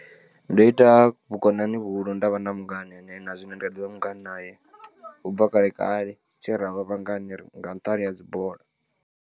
Ndo ita vhukonani vhuhulu nda vha na mungana ane na zwine ndi kha ḓivha mungana naye u bva kale kale tshe ra vha vhangana nga nṱhani ha dzi bola.